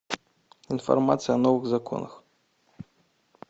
информация о новых законах